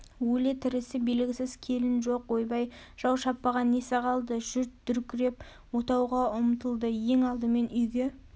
өлі-тірісі белгісіз келін жоқ ойбай жау шаппаған несі қалды жүрт дүркіреп отауға ұмтылды ең алдымен үйге